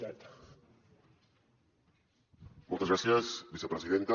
moltes gràcies vicepresidenta